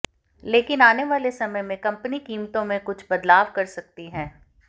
लेकिन आने वाले समय में कंपनी कीमतों में कुछ बदलाव कर सकती है